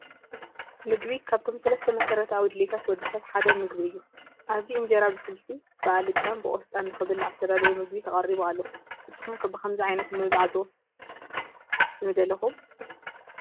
ምግቢ፡- ካብቶም ሰለስተ መሰረታዊ ድልየታት ወዲ ሰብ ሓደ ምግቢ እዩ፡፡ ኣብዚ እንጀራ ብስልሲ ፣ ብኣልጫን ብቆስጣን ንኽብላዕ ዝተዳለወ ምግቢ ተቐሪቡ ኣሎ፡፡ ንስኹም ከ ብኸምዚ ዓይነት ምብላዕ ዶ ንደለኹም?